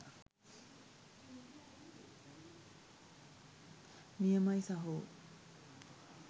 නියමයි සහෝ.